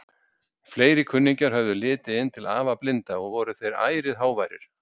Fleiri kunningjar höfðu litið inn til afa blinda og voru þeir ærið háværir.